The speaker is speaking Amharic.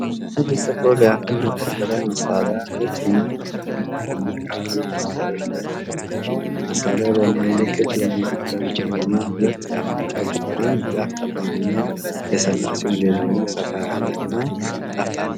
አንድ ጥቁር የአፈር መቆፈሪያ መሳሪያ ነጭ እና ቡናማ በሆኑ ካሬ ሰድሎች ላይ ተቀምጧል። መሳሪያው በመሃል ላይ ክብ የሆነ የጉድጓድ ክፍልና ሁለት ጫፎች አሉት፤ አንድ ጫፍ ጠባብ እና የሰላ ሲሆን ሌላኛው ሰፋ ያለ እና ጠፍጣፋ ነው።